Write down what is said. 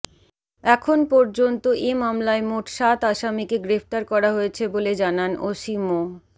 এখন পর্যন্ত এ মামলায় মোট সাত আসামিকে গ্রেফতার করা হয়েছে বলে জানান ওসি মো